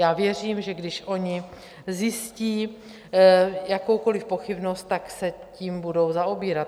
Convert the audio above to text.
Já věřím, že když oni zjistí jakoukoliv pochybnost, tak se tím budou zaobírat.